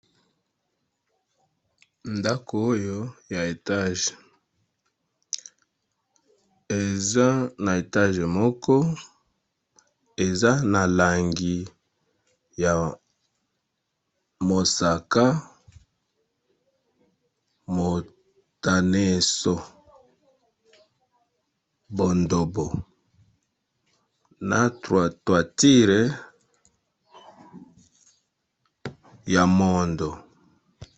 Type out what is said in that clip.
Ndako oyo ya etage eza na etage moko eza na langi ya mosaka motaneso bondobo na troatoitire ya mondo.